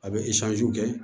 A bɛ kɛ